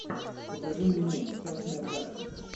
покажи мне мульт частная практика